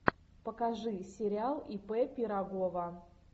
покажи сериал ип пирогова